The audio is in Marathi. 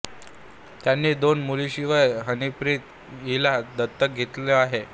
त्यांनी दोन मुलींशिवाय हनीप्रीत हिला दत्तक घेतलं आहे